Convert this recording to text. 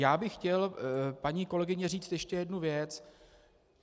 Já bych chtěl, paní kolegyně, říct ještě jednu věc.